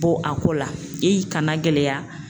Bɔ a ko la i kana gɛlɛya